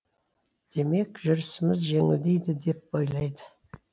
демек жүрісіміз жеңілдейді деп ойлайды